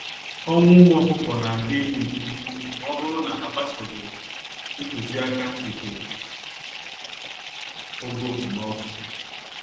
Ọnwụ ụmụ ọkụkọ nadị élú nke úkwú mọbụrụ na agbsoghi ntụziaka nke ogo okpomọkụ.